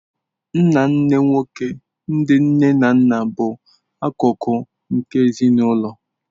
Nnanne nwoke ndi nne na nna bụ akụkụ nke ezinụlọ.